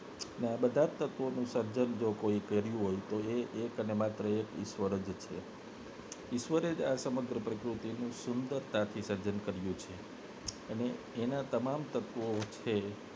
બધા તત્વો સર્જન જો કર્યું હોય તો એક ને માત્ર એક ઈશ્વર જ છે ઈશ્વરે જ આ સમગ્ર પ્રકૃતિ નું સુંદરતાથી સર્જન કર્યું છે અને એના તમામ તત્વો છે